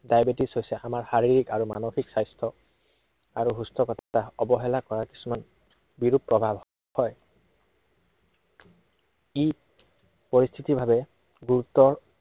diabetes হৈছে আমাৰ শাৰীৰিক আৰু মানসিক স্বাস্থ্য় আৰু সুস্থতা অৱহেলা কৰা কিছুমান বিৰূপ প্ৰভাৱ হয়। ই, পৰিস্থিতি ভাৱে গুৰুত্ব